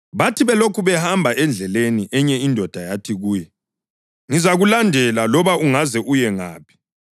Bathi belokhu behamba endleleni, enye indoda yathi kuye, “Ngizakulandela loba ungaze uye ngaphi.”